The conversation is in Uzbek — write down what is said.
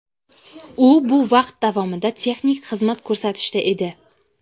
U bu vaqt davomida texnik xizmat ko‘rsatishda edi.